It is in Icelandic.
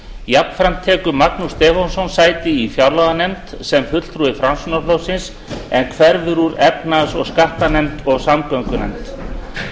jafnframt tekur magnús stefánsson sæti í fjárlaganefnd sem fulltrúi framsóknarflokksins en hverfur úr efnahags og skattanefnd og samgöngunefnd